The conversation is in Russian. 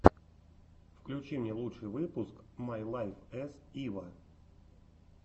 включи мне лучший выпуск май лайф эс ива